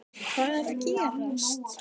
Hvað er að gerast???